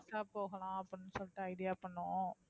friends ஆ போகலாம் அப்படின்னு சொல்லிட்டு idea பண்ணோம்.